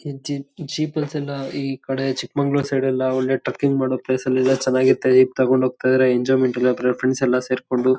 ಈಕಡೆ Chikmagalur side ಎಲ್ಲಾ ಒಳ್ಳೆ ಟ್ರಕ್ಕಿಂಗ್ ಮಾಡೋ ಪ್ಲೇಸ್ ಎಲ್ಲಾ ಇದೆ ಚನಾಗಿರತ್ತೆ. ಈಗ್ ತಗೊಂಡ್ ಹೋಗ್ತಾ ಇದಾರೆ ಎಂಜಾಯ್ಮೆಂಟ್ ಎಲ್ಲಾ ಬೇರೆ ಫ್ರೆಂಡ್ಸ್ ಎಲ್ಲಾ ಸೇರ್ಕೊಂಡು.